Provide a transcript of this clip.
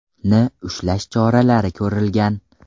ni ushlash choralari ko‘rilgan.